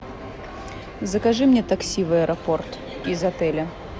закажи мне такси в аэропорт из отеля